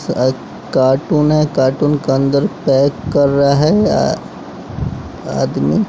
अ carton है carton क अंदर पैक कर रहा है आ आदमी--